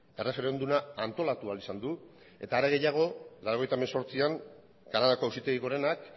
erreferenduma antolatu ahal izan du eta are gehiago mila bederatziehun eta laurogeita hemezortzian kanadako auzitegi gorenak